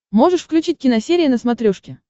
можешь включить киносерия на смотрешке